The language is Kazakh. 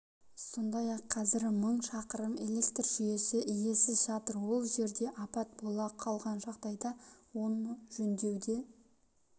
сондай-ақ қазір мың шақырым электр жүйесі иесіз жатыр ол жерде апат бола қалған жағдайда оны жөндеуді